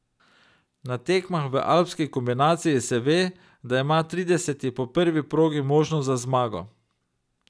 Na tekmah v alpski kombinaciji se ve, da ima trideseti po prvi progi možnost za zmago.